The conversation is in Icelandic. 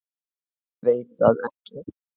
Veit það ekki.